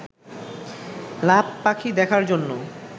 লাভ পাখি দেখার জন্য